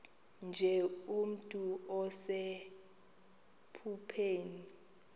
nje nomntu osephupheni